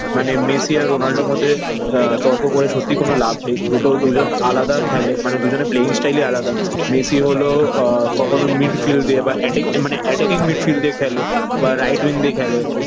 মানে মেসি আর রোনাল্ডোর মধ্যে আহ তর্ক করে সত্যি কোন লাভ নেই। দুটো দুজন আলাদা খেলে। মানে দুজনে playing style ই আলাদা। মেসি হল আহ কখনো মিডফিল্ড দিয়ে বা এটাকিং মানে attacking midfield দিয়ে খেলে বা right wing দিয়ে খেলে